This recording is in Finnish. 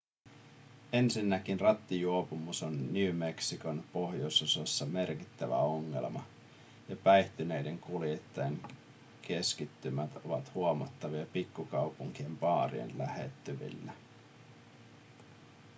ensinnäkin rattijuopumus on new mexicon pohjoisosassa merkittävä ongelma ja päihtyneiden kuljettajien keskittymät ovat huomattavia pikkukaupunkien baarien lähettyvillä